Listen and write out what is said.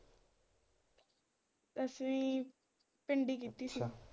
ਦਸਵੀ ਪਿੰਡ ਹੀ ਕੀਤੀ ਸੀ।